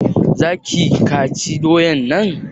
za ki/ ka ci doyan nan?